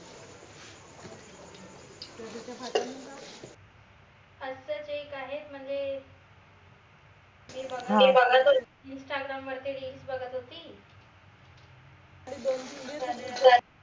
असच एक आहेत म्हनजे बघत होती instagram वरती reels बघत होती दोन तीन दिवस